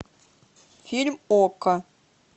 фильм окко